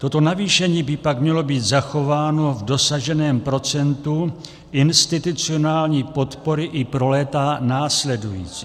Toto navýšení by pak mělo být zachováno v dosaženém procentu institucionální podpory i pro léta následující.